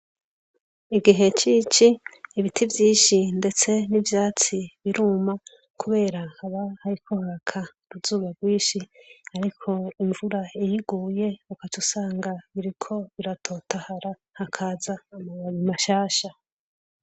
Mugihe c'ici ibintu ibiti vyishi ndetse n'ivyatsi biruma kubera haha hariko haraka uruzuba rwishi ariko imvura iyiguye ugacusanga biriko biratotahara hakaza amababi mashasha.